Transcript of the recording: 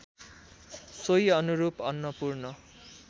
सोही अनुरूप अन्नपूर्ण